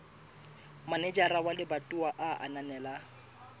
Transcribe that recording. manejara wa lebatowa a ananela